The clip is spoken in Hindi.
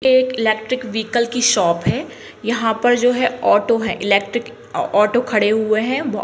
एक इलेक्ट्रिक व्हीकल की शॉप है यहाँ पर जो है ऑटो है इलेक्ट्रिक ऑटो खड़े हुए है।